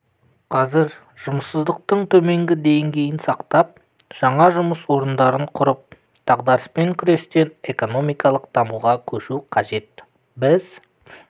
қазір жұмыссыздықтың төменгі дңгейін сақтап жаңа жұмыс орындарын құрып дағдарыспен күрестен экономикалық дамуға көшу қажет біз